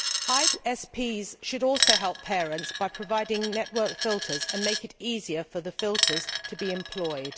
ISPs should also help parents by providing network filters and make it easier for the filters to be employed.